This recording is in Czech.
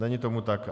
Není tomu tak.